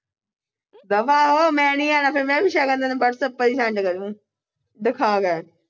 ਦਫਾ ਹੋ ਮੈਂ ਨੀ ਆਣਾ ਫਿਰ ਮੈਂ ਸ਼ਗਨ ਤੈਨੂੰ whatsapp ਪਰ ਈ send ਕਰ ਦੁ